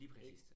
Lige præcist